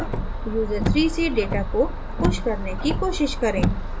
user3 से data को push करने की कोशिश करें